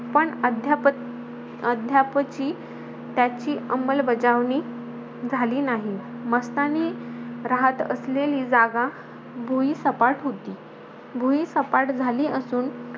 पण अद्याप अद्यापची त्याची अंमलबजावणी झाली नाही. मस्तानी राहत असलेली जागा, भुईसपाट होती भुईसपाट झाली असून,